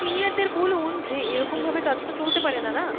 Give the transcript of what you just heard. senior দের বলুন যে এরকম ভাবে কাজ তো চলতে পারেনা না,